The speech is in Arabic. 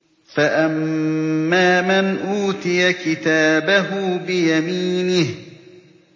فَأَمَّا مَنْ أُوتِيَ كِتَابَهُ بِيَمِينِهِ